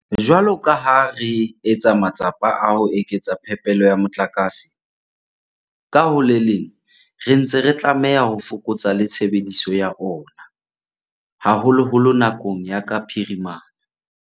Jwalo ka ha re etsa matsapa a ho eketsa phepelo ya motlakase, ka ho le leng re ntse re tlameha ho fokotsa le tshebediso ya ona, haholoholo nakong ya ka phirimana.